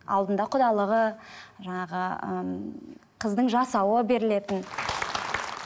алдында құдалығы жаңағы ыыы қыздың жасауы берілетін